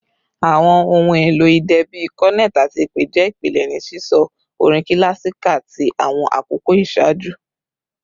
Awọn ohun elo idẹ bii cornet ati ipè jẹ ipilẹ ni sisọ orin kilasika ti awọn akoko iṣaaju